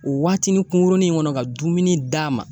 O waatinin kungurunin in kɔnɔ ka dumuni d'a ma